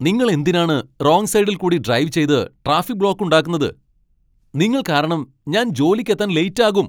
നിങ്ങൾ എന്തിനാണ് റോങ്ങ് സൈഡിൽക്കൂടി ഡ്രൈവ് ചെയ്ത് ട്രാഫിക്ക് ബ്ലോക്ക്‌ ഉണ്ടാക്കുന്നത്? നിങ്ങൾ കാരണം ഞാൻ ജോലിക്കെത്താൻ ലേറ്റ് ആകും.